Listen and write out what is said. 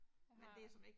Jeg har